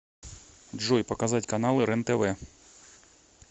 джой показать каналы рентв